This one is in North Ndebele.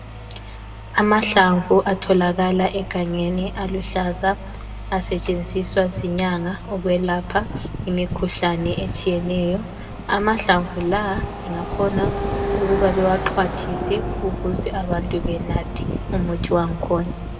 Amahlamvu atholakala egangeni aluhlaza, asetshenziswa zinyanga ukwelapha imikhuhlane etshiyeneyo, amahlamvu lawa lingakhona ukuba bewaxhwathise ukuze abantu benathe umuthi wang'khona.